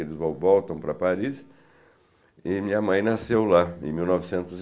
Eles vo voltam para Paris e minha mãe nasceu lá em mil novecentos e